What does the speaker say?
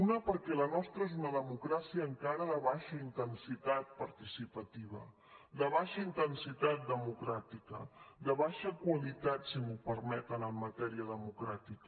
una perquè la nostra és una democràcia encara de baixa intensitat participativa de baixa intensitat democràtica de baixa qualitat si m’ho permeten en matèria democràtica